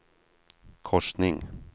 korsning